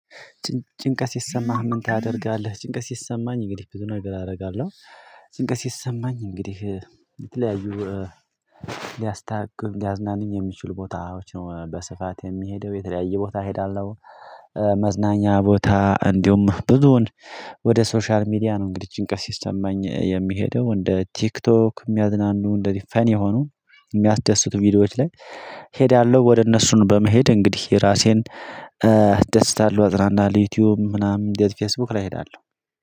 ጭንቀት ሲሰማህ ምን ታደርጋለህ? ጭንቀት ሲሰማኝ እንግዲህ ብዙ ነገር አደርጋለሁ። ጭንቀስ ሲማኝ እንግዲህ የተለያዩ እ ሊያስታክሉኝ ሊያዝናኑኝ የሚችሉ ቦታዎች ነው በስፋት የሚሄደው የተለያየ ቦታ እሄዳለሁ። እ መዝናኛ ቦታ እንዲሁም ብዙውን ወደ ሶሻል ሚዲያ ነው እንግዲህ ጭንቀት ሲሰማኝ የሚሄደው እንደ ቲክቶክ የሚያዝናኑ እንደዚህ ፈን የሆኑ የሚያስደስቱ ቪዲዮዎች ላይ ሄዳለሁ ወደ እነሱን በመሄድ እንግዲህ ራሴን እ አስደስታለሁ አጽናናለሁ ዩቲዩብ ምናምን እንደዚህ ፌስቡክ ላይ እሄዳለሁ።